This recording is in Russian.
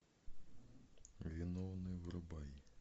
виновный врубай